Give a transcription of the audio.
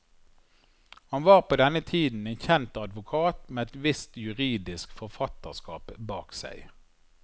Han var på denne tiden en kjent advokat med et visst juridisk forfatterskap bak seg.